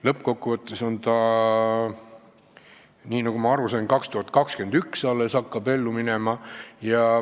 Lõppkokkuvõttes on lood nii, et nagu ma aru sain, alles 2021. aastal hakatakse seda ellu viima.